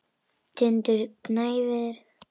Tindur gnæfir yfir.